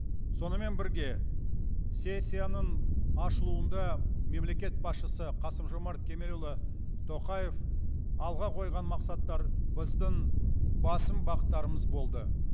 сонымен бірге сессияның ашылуында мемлекет басшысы қасым жомарт кемелұлы тоқаев алға қойған мақсаттар біздің басым бағыттарымыз болды